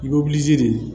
I bɛ de